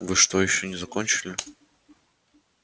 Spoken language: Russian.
вы что ещё не закончили